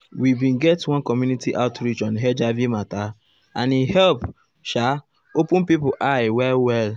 we bin get one community outreach on hiv mata and e help um sha um open people eye well well.